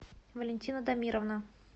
валентина дамировна